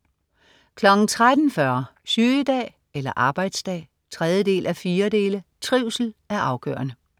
13.40 Sygedag eller arbejdsdag? 3:4. Trivsel er afgørende